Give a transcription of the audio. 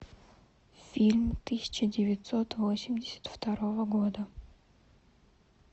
фильм тысяча девятьсот восемьдесят второго года